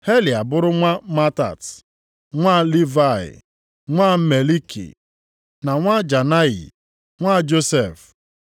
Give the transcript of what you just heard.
Heli abụrụ nwa Matat, nwa Livayị, nwa Meliki, nwa Janayi, nwa Josef;